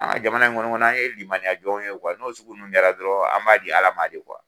An ka jamana in kɔni kɔnɔ an ye limaniya jɔn ye n'o sugu ninnu kɛra dɔrɔn an b'a di Ala ma de